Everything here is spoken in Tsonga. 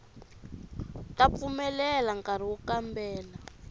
ta pfumelela nkari wo kambela